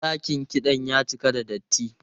Dakin kiɗan ya cika da datti.